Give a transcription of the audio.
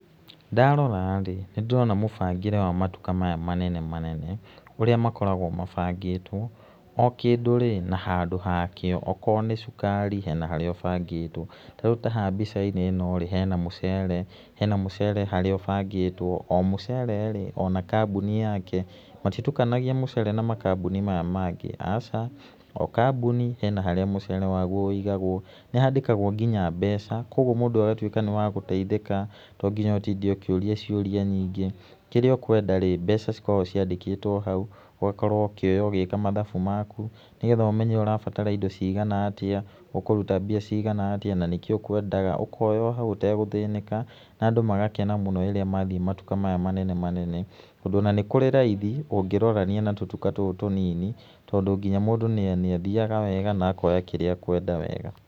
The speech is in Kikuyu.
Ndarora rĩ, nĩ ndĩrona mũbangĩre wa matuka maya menene manene, ũrĩa makoragwo mabangĩtwo. O kĩndũ rĩ, na handũ hakĩo, okorwo nĩ cukari, hena haríĩ ũbangĩtwo, rĩu ta haha mbica-inĩ ĩno rĩ, hena mũcere harĩa ũbangĩtwo, o mũcere rĩ o na kambuni yake, matitukanagia mũcere na makambuni maya mangĩ, aca. O kambuni hena harĩa mũcere waguo ũigagwo, nĩ handĩkagwo nginya mbeca, kuonguo mũndũ agatuĩka nĩ wa gũteithĩka to nginya ũtinde ũkĩũria ciũria nyingĩ, kĩrĩa ũkwenda rĩ, mbeca cikoragwo ciandĩkĩtwo hau ũgakorwo ũkioya ũgĩka mathabu maku nĩ getha ũmenye ũrabatara indo ciagana atĩa, ũkũruta mbia cigana atĩa na nĩkĩ ũkwendaga, ũkoya hau ũtegũthĩnĩka, andũ magakene rĩrĩa megũthiĩ matuka-inĩ maya manene manene. Tondũ ona nĩ kũrĩ raithi ũngĩrorania na tũtuka tũtũ tũnini, tondũ nginya mũndũ nĩ athiaga wega na akoya kĩrĩa ekwenda wega.